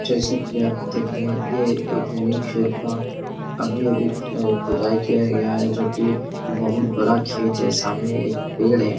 जैसे की आप देख रहे हैं ये एक नई खेत का अभी-अभी अ खोदाई किया गया हैं जोकि बहुत बड़ा खेत हैं सामने एक पेड़ हैं।